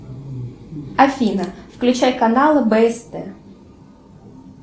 афина включай каналы бст